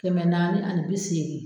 Kɛmɛ naani ani bi seegin